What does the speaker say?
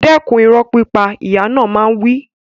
Dẹ́kun ìrọ́ pípa! Ìyá náà máa ń wí.